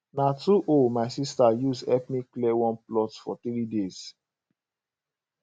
na two hoe my sister use help me clear one plot for 3 days